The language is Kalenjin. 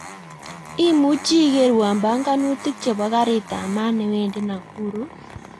Imuchi ikerwon panganutik chepo karit ap maat newendi nakuru